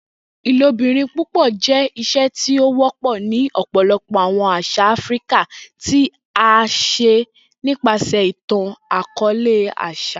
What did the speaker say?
Ilobirin púpọ jẹ iṣe ti o wọpọ ni ọpọlọpọ awọn aṣa Afirika, ti a ṣe nipasẹ itan-akọọlẹ, aṣa.